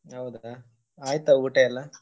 ಹೌದಾ ಆಯ್ತಾ ಊಟ ಎಲ್ಲ?